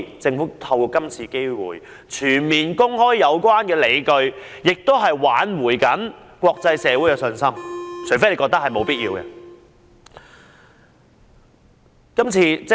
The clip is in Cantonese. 政府應藉今次機會，全面公開有關理據，挽回國際社會的信心，除非政府認為沒有此必要。